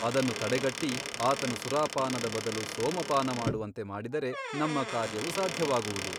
ಅದನ್ನು ತಡೆಗಟ್ಟಿ ಆತನು ಸುರಾಪಾನದ ಬದಲು ಸೋಮಪಾನ ಮಾಡುವಂತೆ ಮಾಡಿದರೆ ನಮ್ಮ ಕಾರ್ಯವು ಸಾಧ್ಯವಾಗುವುದು.